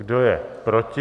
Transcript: Kdo je proti?